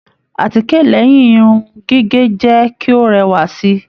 Àtíkè lẹyìn Irun gígé jẹ kí o rẹwa sí.